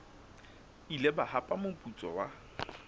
ile ba hapa moputso wa